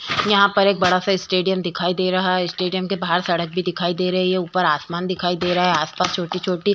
यहाँ पर एक बड़ा सा स्टेडियम दिखाई दे रहा है। स्टेडियम के बाहर सड़क भी दिखाई दे रही है। ऊपर आसमान दिखाई दे रहा है। आसपास छोटी-छोटी --